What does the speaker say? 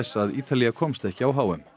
að Ítalía komst ekki á h m